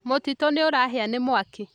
Mũtitũnĩũrahĩa nĩ mwaki